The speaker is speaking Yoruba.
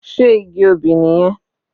Sé igi obì nìyẹn?